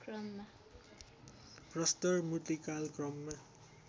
प्रस्तर मूर्तिकाल क्रममा